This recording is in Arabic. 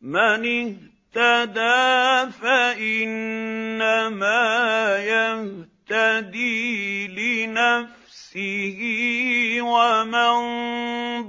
مَّنِ اهْتَدَىٰ فَإِنَّمَا يَهْتَدِي لِنَفْسِهِ ۖ وَمَن